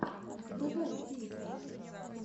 врубай песни